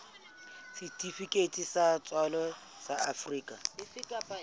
setifikeiti sa tswalo sa afrika